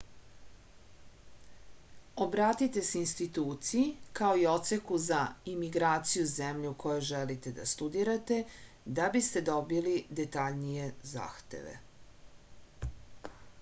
obratite se instituciji kao i odseku za imigraciju zemlje u kojoj želite da studirate da biste dobili detaljnije zahteve